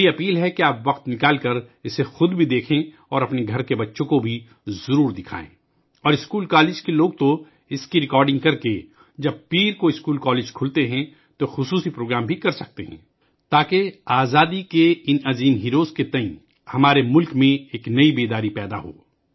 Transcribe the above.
میری آپ سے گزارش ہے کہ وقت نکال کر خود بھی دیکھیں اور اپنے گھر کے بچوں کو بھی دکھائیں اور اسکول کالج والے بھی پیر کو اسکول کالج کھلنے پر اس کی ریکارڈنگ کرکے ایک خصوصی پروگرام ترتیب دے سکتے ہیں تاکہ آزادی کے اِن ہیرو کے تئیں ہمارے ملک میں ایک نئی بیداری پیدا ہو